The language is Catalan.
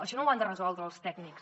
això no ho han de resoldre els tècnics